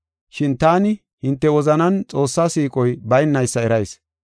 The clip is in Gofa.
Shin taani hinte wozanan Xoossaa siiqoy baynaysa erayis.